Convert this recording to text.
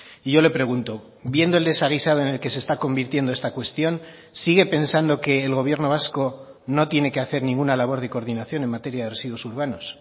y yo le pregunto viendo el desaguisado en el que se está convirtiendo esta cuestión sigue pensando que el gobierno vasco no tiene que hacer ninguna labor de coordinación en materia de residuos urbanos